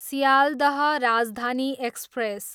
Sealdah Rajdhani express